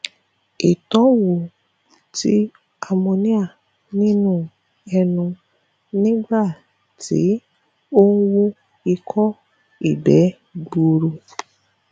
ìtọnwo ti ammonia nínú ẹnu nígbà ti o ń wu iko igbe gburuu